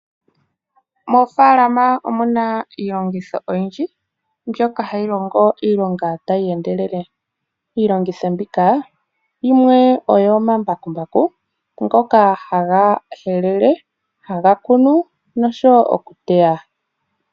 Moofalama omuna iilongotho oyindji mbyoka tayi longo iilonga tayi endelele. Iilongitho mbika yimwe oyo omambakumbaku ngoka haga helele, haga kunu nokuteya.